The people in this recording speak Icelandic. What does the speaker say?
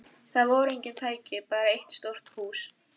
Þar voru engin tæki, bara eitt stórt hús.